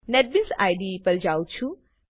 NetBeans IDE પર જાઉં છુ